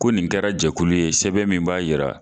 Ko nin kɛra jɛkulu ye sɛbɛn min b'a jira